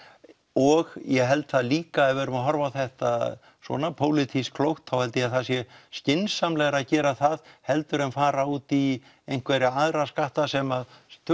og ég held það líka ef við erum að horfa á þetta svona pólitískt klókt að þá held ég það sé skynsamlegra að gera það heldur en fara út í einhverja aðra skatta sem